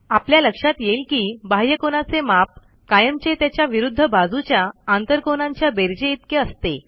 आपल्या लक्षात येईल की बाह्यकोनाचे माप कायमच त्याच्या विरूध्द बाजूच्या आंतरकोनांच्या बेरजेइतके असते